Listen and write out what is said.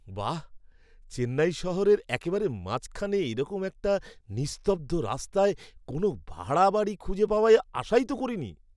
বাহ্! চেন্নাই শহরের একেবারে মাঝখানে এরকম একটা নিস্তব্ধ রাস্তায় কোনও ভাড়া বাড়ি খুঁজে পাওয়ার আশাই তো করিনি!